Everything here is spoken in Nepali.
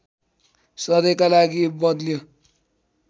सधैँका लागि बद्ल्यो